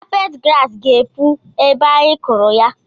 Kapeti grass ga-epu ebe a anyị kụrụ ya